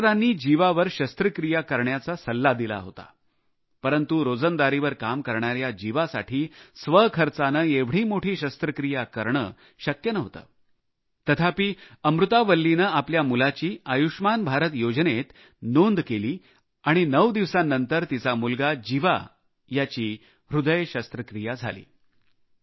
डॉक्टरांनी जीवावर शस्त्रक्रिया करण्याचा सल्ला दिला होता परंतु रोजंदारीवर काम करणाऱ्या जीवासाठी स्वखर्चाने एवढी मोठी शस्त्रक्रिया करणे शक्य नव्हते तथापि अमूर्था वल्ली यांनी आपल्या मुलाची आयुष्मान भारत योजनेत नोंद केली आणि नऊ दिवसांनंतर त्यांचा मुलगा जिवाचीही हृदय शस्त्रक्रिया झाली